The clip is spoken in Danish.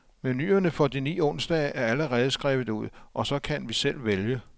Menuerne for de ni onsdage er allerede skrevet ud, og så kan vi selv vælge.